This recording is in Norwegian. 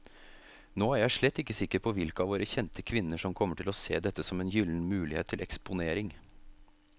Nå er jeg slett ikke sikker på hvilke av våre kjente kvinner som kommer til å se dette som en gyllen mulighet til eksponering.